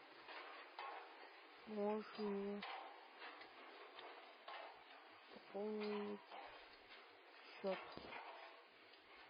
можешь мне пополнить счет